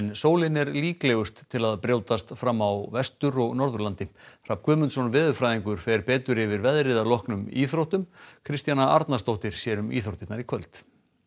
sólin er líklegust til að brjótast fram á Vestur og Norðurlandi Hrafn Guðmundsson veðurfræðingur fer betur yfir veðrið að loknum íþróttum Kristjana Arnarsdóttir sér um íþróttirnar í kvöld